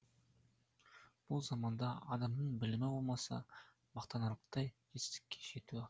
бұл заманда адамның білімі болмаса мақтанарлықтай жетістікке жетуі